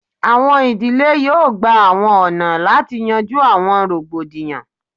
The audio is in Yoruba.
Awọn idile yoo gba awọn ọna lati yanju awọn rogbodiyan